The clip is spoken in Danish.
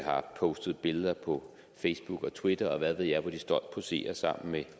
har postet billeder på facebook og twitter og hvad ved jeg hvor de stolt poserer sammen med